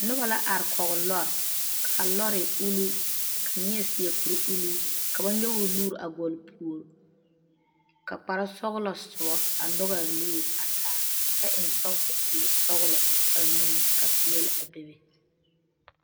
Noba la are kɔɔ lɔr kaa lɔr e ulluu ka neɛ seɛ kur ulluu ka ba nyɔge o nuuri a gɔl o puori ka kpare sɔglɔ soba a nyɔge a nuuri a taa kyɛ eŋe sɔɔsi sɔglɔ a nu ka pɛɛle a bebe.